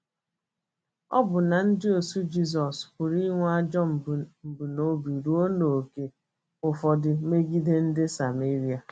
Ọbụna ndịozi Jizọs pụrụ inwe ajọ mbunobi ruo n’ókè ụfọdụ megide ndị Sameria.